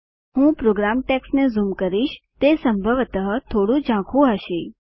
હું પ્રોગ્રામ ટેક્સ્ટને ઝૂમ કરીશ તે સંભવતઃ થોડું ઝાંખુ હશે